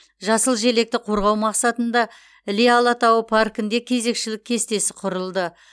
жасыл желекті қорғау мақсатында іле алатауы паркінде кезекшілік кестесі құрылды